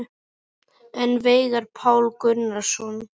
En Veigar Páll Gunnarsson?